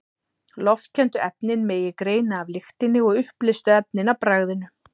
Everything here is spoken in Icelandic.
Loftkenndu efnin megi greina af lyktinni og uppleystu efnin af bragðinu.